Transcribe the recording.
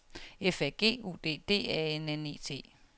F A G U D D A N N E T